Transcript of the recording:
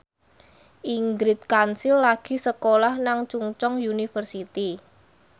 Ingrid Kansil lagi sekolah nang Chungceong University